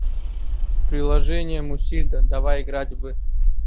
приложение мусильда давай играть в